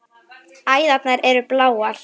Æðarnar eru bláar.